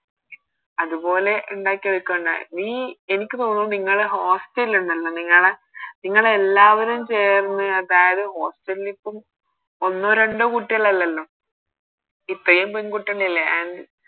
അതുപോലെ ഇണ്ടാക്കി എടുക്കണ്ട എനിക്ക് തോന്നുന്ന് നിങ്ങള് Hostel ഇണ്ടല്ലോ നിങ്ങളെ നിങ്ങള് എല്ലാവരും ചേർന്ന് അതായത് Hostel ഇപ്പൊ ഒന്നോ രണ്ടോ കുട്ടികളല്ലല്ലോ ഇത്രയും പെണ്കുട്ടികളില്ലേ